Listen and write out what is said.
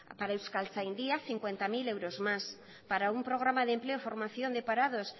para euskaltzaindia cincuenta mil euros más para un programa de empleo y formación de parados